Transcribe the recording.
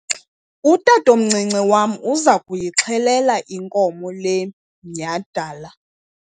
utatomncinci wam uza kuyixhelela inkomo le minyhadala